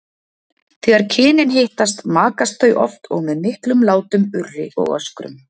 Þegar kynin hittast makast þau oft og með miklum látum, urri og öskrum.